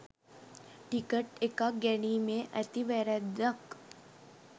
ticket එකක් ගැනීමේ ඇති වැරද්දක්